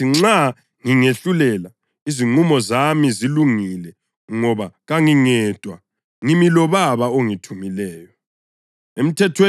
Kodwa ngithi nxa ngingehlulela, izinqumo zami zilungile ngoba kangingedwa. Ngimi loBaba ongithumileyo.